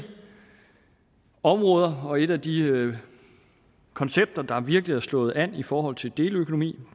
områder og et af de koncepter der virkelig er slået an i forhold til deleøkonomi